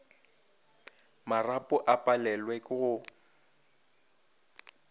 marapo a palelwe ke go